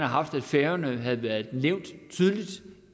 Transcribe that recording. haft at færøerne havde været nævnt tydeligt